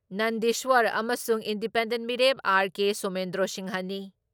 ꯅꯟꯗꯤꯁ꯭ꯋꯔ ꯑꯃꯁꯨꯡ ꯏꯟꯗꯤꯄꯦꯟꯗꯦꯟꯠ ꯃꯤꯔꯦꯞ ꯑꯥꯔ.ꯀꯦ.ꯁꯣꯃꯦꯟꯗ꯭ꯔꯣ ꯁꯤꯡꯍꯅꯤ ꯫